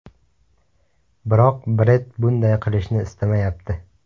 Biroq Bred bunday qilishni istamayapti.